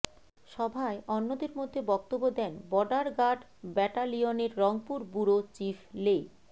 সভায় অন্যদের মধ্যে বক্তব্য দেন বর্ডার গার্ড ব্যাটালিয়নের রংপুর ব্যুরো চিফ লে